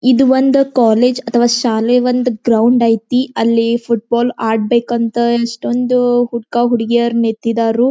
ಇದು ಒಂದು ಕಾಲೇಜ್ ಅಥವಾ ಶಾಲೆ ಒಂದ ಗ್ರೌಂಡ್ ಐತಿ ಅಲ್ಲಿ ಫುಟಬಾಲ್ ಆಡ್ಬೇಕಂತ ಎಷ್ಟೊಂದ ಹುಡ್ಕ ಹುಡುಗೀಯರ್ ನಿತ್ತಿದರೂ.